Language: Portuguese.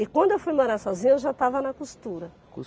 E quando eu fui morar sozinha, eu já estava na costura.